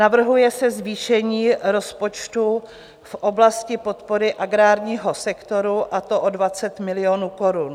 Navrhuje se zvýšení rozpočtu v oblasti podpory agrárního sektoru, a to o 20 milionů korun.